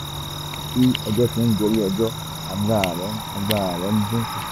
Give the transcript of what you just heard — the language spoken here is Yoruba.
bí ọjọ́ ti ń gorí ọjọ́ agbára rẹ̀ ń agbára rẹ̀ ń dín kù